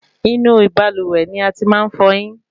Inú ibalúwẹ́ ní a tí màá n fọyín